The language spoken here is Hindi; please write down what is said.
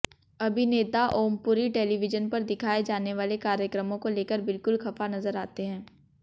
अभिनेता ओमपुरी टेलीविजन पर दिखाए जाने वाले कार्यक्रमों को लेकर बिल्कुल खफा नजर आते हैं